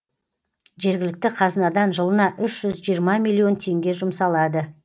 жергілікті қазынадан жылына үш жүз жиырма миллион теңге жұмсалады